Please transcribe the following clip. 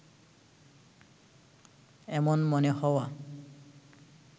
এমন মনে হওয়া